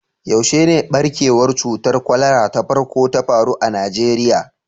Yaushe ne ɓarkewar cutar kwalara ta farko ta faru a Najeriya?